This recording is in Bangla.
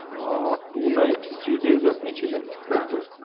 আহ two nights three days আপনি ছিলেন তাইতো